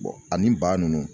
ani ba ninnu